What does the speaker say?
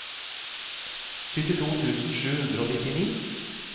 syttito tusen sju hundre og nittini